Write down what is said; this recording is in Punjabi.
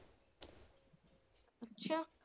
ਅੱਛਾ।